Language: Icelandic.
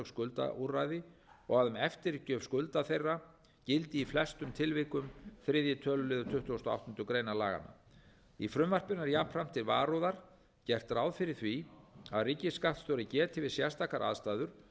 skuldaúrræði og að um eftirgjöf skulda þeirra gildi í flestum tilvikum þriðja tölulið tuttugasta og áttundu grein laganna í frumvarpinu er jafnframt til varúðar gert ráð fyrir því að ríkisskattstjóri geti við sérstakar aðstæður